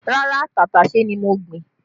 Rárá, tàtàṣé ni mo gbìn